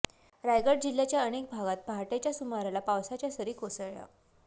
रायगड जिल्ह्याच्या अनेक भागात पहाटेच्या सुमाराला पावसाच्या सरी कोसळल्या